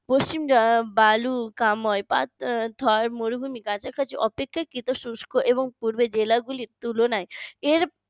পশ্চিম আহ বালুকা ময় থর মরুভূমি কাছাকাছি অপেক্ষা কৃত শুষ্ক এবং পূর্বে জেলাগুলি তুলনায় এর